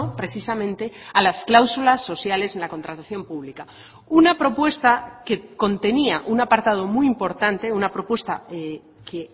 precisamente a las cláusulas sociales en la contratación pública una propuesta que contenía un apartado muy importante una propuesta que